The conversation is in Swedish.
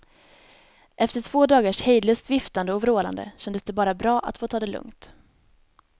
Efter två dagars hejdlöst viftande och vrålande kändes det bara bra att få ta det lugnt.